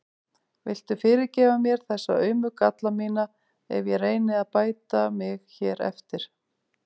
Viltu fyrirgefa mér þessa aumu galla mína ef ég reyni að bæta mig hér eftir?